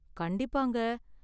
கண்டிப்பாங்க.